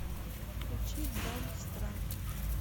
включи дамбстрак